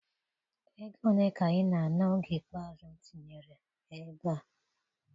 Ego ole ka ị na-ana oge ikpeazụ m tinyere ebe a?